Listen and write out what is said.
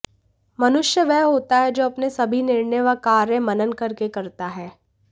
मनुष्य वह होता है जो अपने सभी निर्णय व कार्य मनन करके करता हे